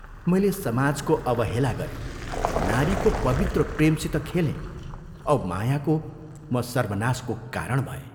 मैले समाजको अवहेला गरें, नारीको पवित्र प्रेमसित खेलें औ मायाको म सर्वनाशको कारण भएँ।